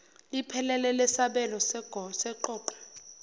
liphelele lesabelo seqoqo